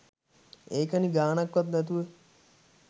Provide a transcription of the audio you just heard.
ඒකනේ ගානක්වත් නැතුව